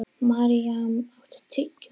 Maríam, áttu tyggjó?